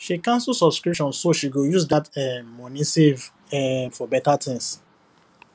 she cancel subscription so she go use that um money save um for better thing